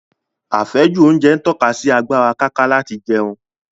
Àfẹ́jù oúnjẹ ń tọ́ka sí agbára káká láti jẹun